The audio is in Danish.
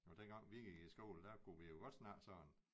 Og dengang vi gik i skole der kunne vi jo godt snakke sådan